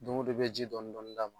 Don go don i be ji dɔɔni dɔɔni d'a ma.